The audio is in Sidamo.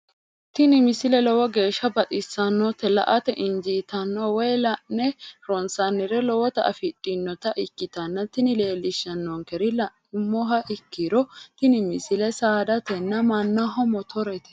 tini misile lowo geeshsha baxissannote la"ate injiitanno woy la'ne ronsannire lowote afidhinota ikkitanna tini leellishshannonkeri la'nummoha ikkiro tini misile saadatenna mannaho motoreate.